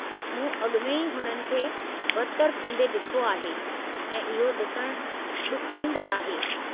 मूं अॻु में ई हुननि खे बदतरि थींदे ॾिठो आहे, ऐं इहो ॾिसणु ॾुखोईंदड़ु आहे।